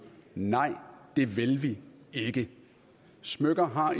nej det vil vi ikke smykker har